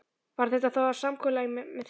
Varð þetta þá að samkomulagi með þeim.